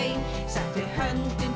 settu hönd undir